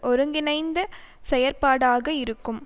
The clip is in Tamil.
ஒருங்கிணைந்த செயற்பாடாக இருக்கும்